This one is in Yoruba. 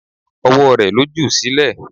Ọwọ́ rẹ̀ ló jù sílẹ̀.